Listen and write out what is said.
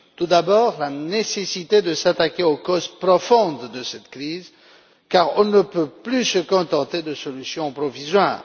Tout d'abord, la nécessité de s'attaquer aux causes profondes de cette crise, car on ne peut plus se contenter de solutions provisoires.